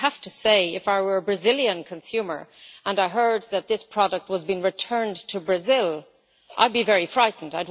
I have to say, if I were a Brazilian consumer and I heard that this product was being returned to Brazil I would be very frightened.